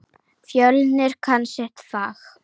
Fjölnir kann sitt fag.